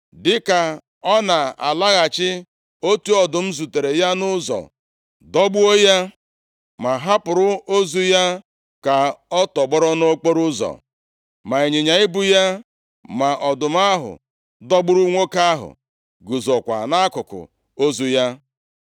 Dịka ọ na-alaghachi, otu ọdụm zutere ya nʼụzọ, dọgbuo ya. Ma ọ hapụrụ ozu ya ka ọ tọgbọrọ nʼokporoụzọ, ma ịnyịnya ibu ya ma ọdụm ahụ dọgburu nwoke ahụ guzokwa nʼakụkụ ozu ya.